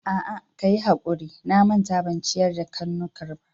A'a, kayi hakuri, na manta ban ciyar da karnukan ba.